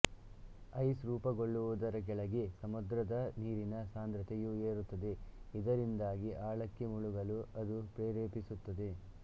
ice ರೂಪಗೊಳ್ಳುವುದರ ಕೆಳಗೆ ಸಮುದ್ರದ ನೀರಿನ ಸಾಂದ್ರತೆಯು ಏರುತ್ತದೆ ಇದರಿಂದಾಗಿ ಆಳಕ್ಕೆ ಮುಳುಗಲು ಅದು ಪ್ರೇರೇಪಿಸುತ್ತದೆ